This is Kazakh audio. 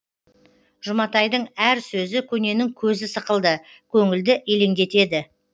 жұматайдың әр сөзі көненің көзі сықылды көңілді елеңдетеді